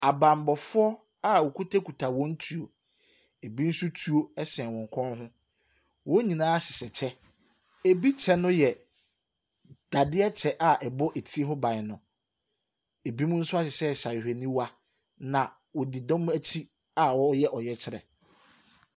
Abammɔfoɔ a wɔkutakuta wɔn tuo. Ɛbi nso tuo sɛn wɔn kɔn ho. Wɔn nyinaa hyehyɛ kyɛ. Ɛbi kyɛ no yɛ dadaɛ kyɛ a ɛbɛ etire ho ban no. Ɛbinom nso ahyehyɛhyehyɛ ahwehwɛniwa, na wɔdi ɛdɔm akyi a wɔreyɛ ɔyɛkyerɛ.